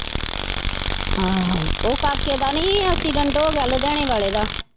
ਆਹੋ ਉਹ ਕਾਕੇ ਦਾ ਨਹੀਂ ਹੀ accident ਹੋ ਗਿਆ ਲੁਧਿਆਣੇ ਵਾਲੇ ਦਾ।